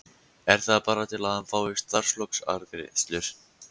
Er það bara til að hann fái starfslokagreiðslur?